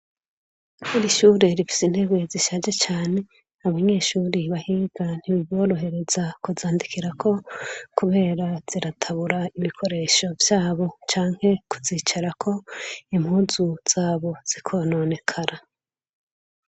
Irishure rifise intebe zishaje cane ,abanyeshure bahiga ntibiborohereza kuzandikirako kubera ziratabura ibikoresho vyabo Canke impuzu zabo zikononekara.